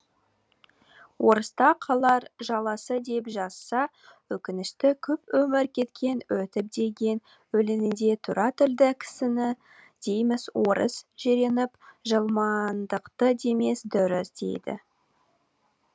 орыста қалар жаласы деп жазса өкінішті көп өмір кеткен өтіп деген өлеңінде тура тілді кісіні дейміз орыс жиреніп жылмаңдықты демес дұрыс деді